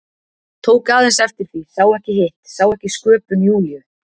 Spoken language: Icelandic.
Tók aðeins eftir því, sá ekki hitt, sá ekki sköpun Júlíu.